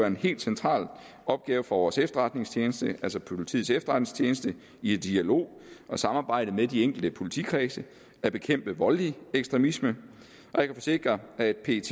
en helt central opgave for vores efterretningstjeneste altså politiets efterretningstjeneste i dialog og samarbejde med de enkelte politikredse at bekæmpe voldelig ekstremisme og jeg kan forsikre at pet